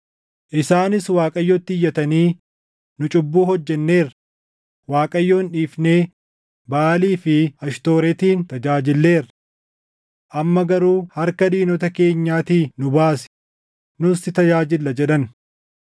Isaanis Waaqayyotti iyyatanii, ‘Nu cubbuu hojjenneerra; Waaqayyoon dhiifnee Baʼaalii fi Ashtooretin tajaajilleerra. Amma garuu harka diinota keenyaatii nu baasi; nus si tajaajilla’ jedhan.